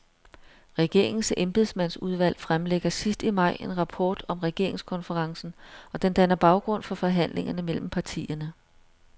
Regeringens embedsmandsudvalg fremlægger sidst i maj en rapport om regeringskonferencen, og den danner baggrund for forhandlingerne mellem partierne.